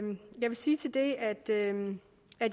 sige at en